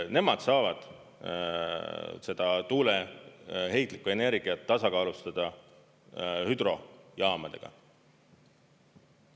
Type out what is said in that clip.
Nemad saavad seda tuuleheitlikku energiat tasakaalustada hüdrojaamadega.